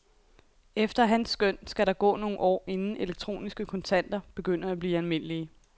Efter hans skøn, skal der gå nogle år inden elektroniske kontanter begynder at blive almindelige.